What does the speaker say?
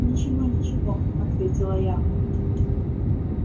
ничего ничего ответила я